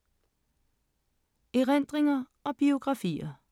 Erindringer og biografier